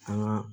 An ka